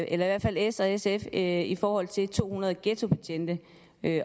eller i hvert fald s og sf en plan i forhold til to hundrede ghettobetjente